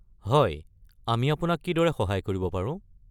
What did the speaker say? হয়, আমি আপোনাক কিদৰে সহায় কৰিব পাৰো?